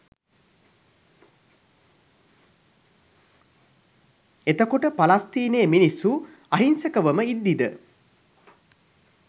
එතකොට පලස්තීනයේ මිනිස්සු අහිංසකවම ඉද්දිද